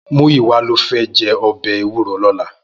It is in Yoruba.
Muyiwa ló fè jè òbè éwúró lòlá